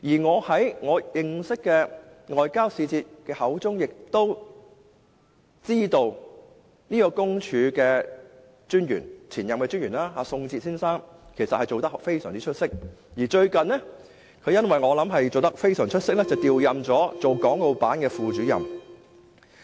我從認識的外交使節口中亦得知，特派員公署的前任特派員宋哲先生的表現非常出色，而我想亦基於這個原因，他最近被調任為國務院港澳事務辦公室副主任。